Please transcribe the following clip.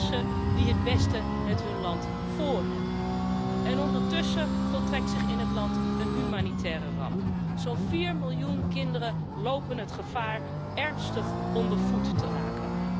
Mensen die het beste met hun land voorhebben. Ondertussen voltrekt zich in het land een humanitaire ramp zo'n 4 miljoen kinderen lopen het gevaar ernstig ondervoed te raken.